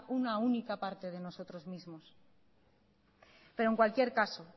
una única parte de nosotros mismos pero en cualquier caso